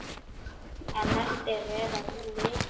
En eftir er að lyfta.